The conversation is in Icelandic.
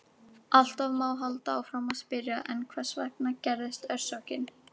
Alltaf má halda áfram að spyrja: En hvers vegna gerðist orsökin?